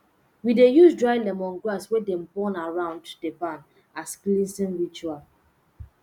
we dey use dry lemongrass wey dem burn around di barn as cleansing ritual